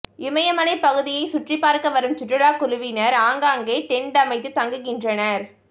இமயமலைப் பகுதிகளை சுற்றிப்பார்க்க வரும் சுற்றுலா குழுவினர் ஆங்காங்கே டென்ட் அமைத்து தங்குகின்றனர்